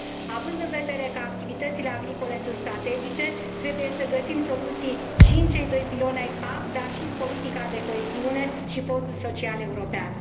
Având în vedere că activitățile agricole sunt strategice, trebuie să găsim soluții și în cei doi piloni ai PAC, dar și în politica de coeziune și Fondul social european.